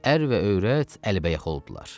Ər və övrət əlbəyax oldular.